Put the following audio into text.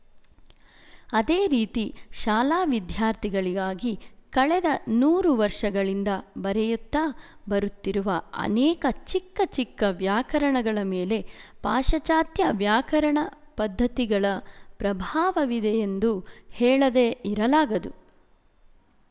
ಅದೇ ರೀತಿ ಶಾಲಾ ವಿದ್ಯಾರ್ಥಿಗಳಿಗಾಗಿ ಕಳೆದ ನೂರು ವರ್ಶಗಳಿಂದ ಬರೆಯುತ್ತಾ ಬರುತ್ತಿರುವ ಅನೇಕ ಚಿಕ್ಕಚಿಕ್ಕ ವ್ಯಾಕರಣಗಳ ಮೇಲೆ ಪಾಶಚಾತ್ಯ ವ್ಯಾಕರಣ ಪದ್ಧತಿಗಳ ಪ್ರಭಾವವಿದೆಯೆಂದು ಹೇಳದೆ ಇರಲಾಗದು